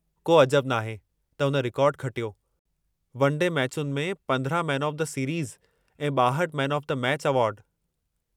को अजबु नाहे त हुन रिकार्डु खटियो; वन डे मैचुनि में 15 मैन ऑफ़ दी सीरीज़ ऐं 62 मैन ऑफ़ दी मैचि एवार्ड।